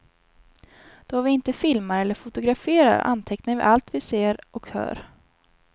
Då vi inte filmar eller fotograferar antecknar vi allt vi ser och hör.